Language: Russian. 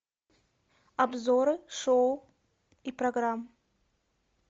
обзоры шоу и программ